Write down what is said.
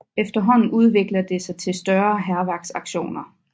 Efterhånden udvikler det sig til større hærværksaktioner